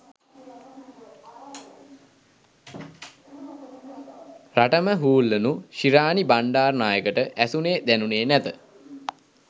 රටම හූල්ලනු ශිරාණි බණ්ඩාරනායකට ඇසුණේ දැනුණේ නැත